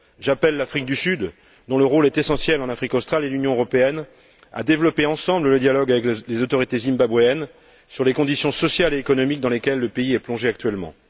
J'appelle l'Afrique du Sud, dont le rôle est essentiel en Afrique australe, et l'Union européenne à développer ensemble le dialogue avec les autorités zimbabwéennes sur les conditions sociales et économiques dans lesquelles le pays est plongé actuellement.